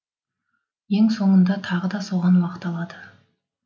ең соңында тағы да соған уақыт алады